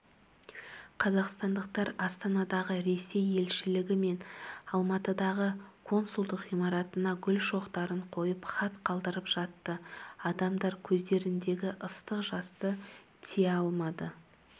қазақстандықтар астанадағы ресей елшілігі мен алматыдағы консулдық ғимаратына гүл шоқтарын қойып хат қалдырып жатты адамдар көздеріндегі ыстық жасты тия алмады